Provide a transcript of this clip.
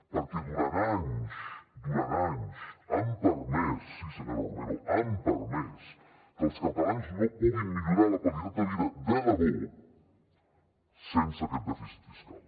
perquè durant anys durant anys han permès sí senyora romero que els catalans no puguin millorar la qualitat de vida de debò sense aquest dèficit fiscal